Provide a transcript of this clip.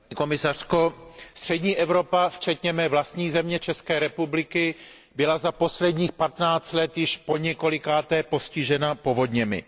Paní předsedající, střední Evropa, včetně mé vlastní země České republiky, byla za posledních 15 let již poněkolikáté postižena povodněmi.